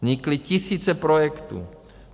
Vznikly tisíce projektů.